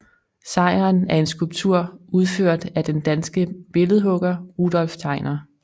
Sejren er en skulptur udført af den danske billedhugger Rudolph Tegner